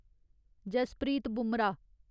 Jasprit Bumrah